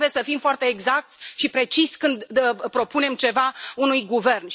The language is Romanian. Noi trebuie să fim foarte exacți și preciși când propunem ceva unui guvern.